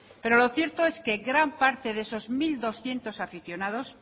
pero lo cierto es que gran parte de esos mil doscientos aficionados